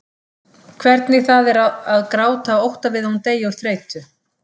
Hvernig það er að gráta af ótta við að hún deyi úr þreytu.